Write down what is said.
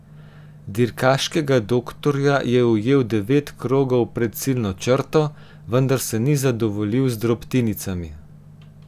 Dirkaškega doktorja je ujel devet krogov pred ciljno črto, vendar se ni zadovoljil z drobtinicami.